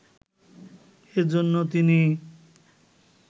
এজন্য তিনি